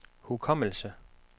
hukommelse